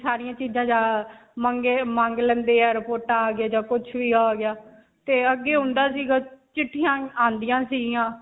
ਸਾਰੀਆਂ ਚੀਜਾਂ ਜਾਂ ਮੰਗ ਲੈਣੇ ਹੈ ਰਿਪੋਰਟਾਂ ਆ ਗਿਆ ਤੇ ਅੱਗੇ ਹੁੰਦਾ ਸਿਗਾ ਚਿੱਠੀਆਂ ਆਉਂਦੀਆਂ ਸੀਗੀਆਂ